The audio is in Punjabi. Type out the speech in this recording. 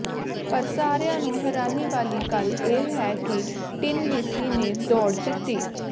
ਪਰ ਸਾਰਿਆਂ ਨੂੰ ਹੈਰਾਨੀ ਵਾਲੀ ਗੱਲ ਇਹ ਹੈ ਕਿ ਟਿਨ ਲੀਸੀ ਨੇ ਦੌੜ ਜਿੱਤੀ